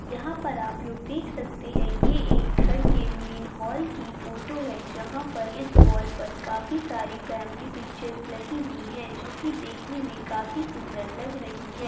यहाँ पर आप लोग देख सकते है ये एक घर के मैन हॉल की फोटो है जहा पर इस वॉल पर काफी सारी फॅमिली पिक्चर्स लगी हुई है जो की देखने मे काफी सुंदर लग रही है।